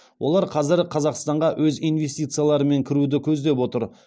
олар қазір қазақстанға өз инвестицияларымен кіруді көздеп отыр